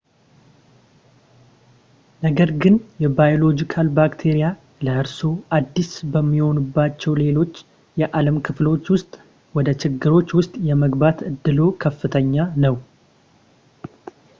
ነገር ግን የባዮሎጂካል ባክቴሪያ ለእርስዎ አዲስ በሚሆኑባቸው ሌሎች የዓለም ክፍሎች ውስጥ ወደ ችግሮች ውስጥ የመግባት እድሎ ከፍተኛ ነው